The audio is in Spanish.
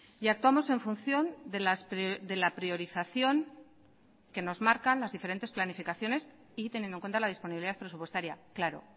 y actuamos en función de la priorización que nos marcan las diferentes planificaciones y teniendo en cuenta la disponibilidad presupuestaria claro